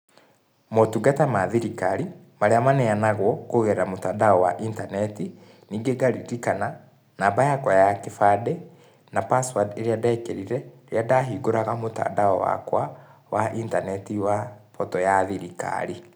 Motungata ma thirikari, marĩa maneanagwo, kũgerera mũtandao wa internet. Ningĩ ngaririkana, namba yakwa ya kĩbandĩ, na password iria ndĩrekerire, rĩrĩa ndahingũraga mũtandao wakwa, wa internet wa portal ya thirikari.